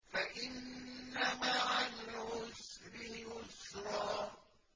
فَإِنَّ مَعَ الْعُسْرِ يُسْرًا